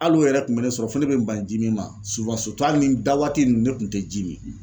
Hali o yɛrɛ kun bɛ ne sɔrɔ fo ne bɛ n ban ji min ma hali ni da waati ninnu ne tun tɛ ji min .